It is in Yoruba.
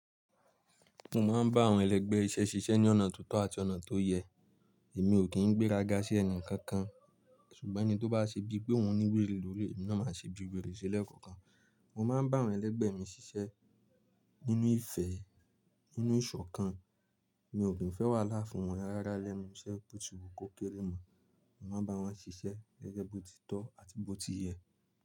Mo máa ń bá àwọn ẹlẹgbẹ́ iṣẹ́ ṣiṣẹ́ ní ọ̀nà tó tọ́ àti ọ̀nà tó yẹ. Èmi ò kí ń gbé rágá sí ẹni kankan ṣùgbọ́n ẹni tó bá ṣe bí pé òun ní wèrè lórí, èmi náà máa ṣe bí wèrè sí lẹ́ẹ̀kọ̀kan. Mo máa ń bá àwọn ẹlẹgbẹ́ mi ṣiṣẹ́ nínú ìfẹ́, nínú ìṣọ̀kan. Mi ò kí ń fẹ́ wà láfùn wọn rárá lẹ́ẹ̀mí iṣẹ́ bó ti wu kókérè mọ́. Mo máa ń bá wọn ṣiṣẹ́ ẹgbẹ́ bó ti tọ́ àti bó ti yẹ.